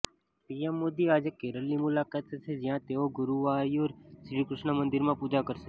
PM Modi આજે કેરલની મુલાકાતે છે જ્યાં તેઓ ગુરૂવાયૂર શ્રીકૃષ્ણ મંદીરમાં પુજા કરશે